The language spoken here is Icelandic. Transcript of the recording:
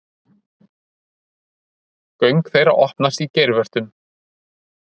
Göng þeirra opnast í geirvörtum.